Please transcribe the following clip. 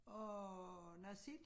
Og noget sild